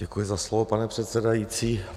Děkuji za slovo, pane předsedající.